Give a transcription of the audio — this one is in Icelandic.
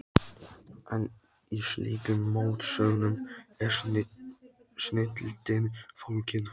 En í slíkum mótsögnum er snilldin fólgin.